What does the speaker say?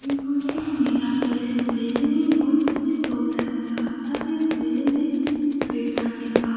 यह फोटो इस मेला के है। इस मेले में बहुत सारे लोग हैं। और साथ ही इस मेले में ब्रेक डांस लगा हुआ